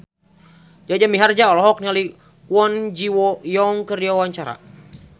Jaja Mihardja olohok ningali Kwon Ji Yong keur diwawancara